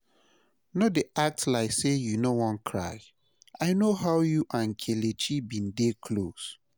No dey act like say you no wan cry, I no how you and Kelechi bin dey close